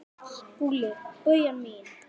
SKÚLI: Bauja mín!